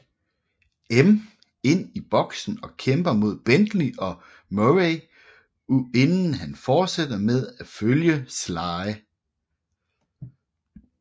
M ind i boksen og kæmper mod Bentley og Murray inden han fortsætter med at følge Sly